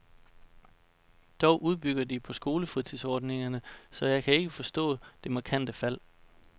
Dog udbygger vi på skolefritidsordningerne, så jeg kan ikke forstå det markante fald.